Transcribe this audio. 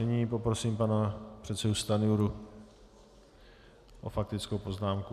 Nyní poprosím pana předsedu Stanjuru o faktickou poznámku.